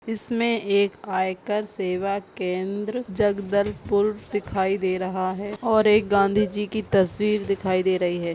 इसमें एक आयकर सेवा केंद्र जगदलपुर दिखाई दे रहा है और एक गांधी जी की तस्वीर दिखाई दे रही है ।